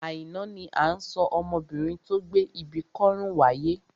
Àìná ni à ń sọ ọmọbinrin tó gbé ibi kọ́rùn wáyé.